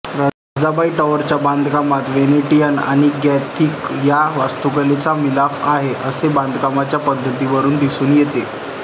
राजाबाई टॉवरच्या बांधकामात वेनेटियन आणि गॉथिक या वास्तुकलेचा मिलाफ आहे असे बांधकामाच्या पद्धतीवरून दिसून येते